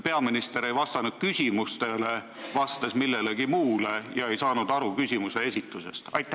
Peaminister ei vastanud küsimusele, ta vastas millelegi muule ega saanud küsimusest aru.